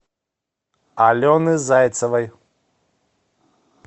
алены зайцевой